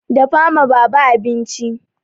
Dafa ma baba abinci!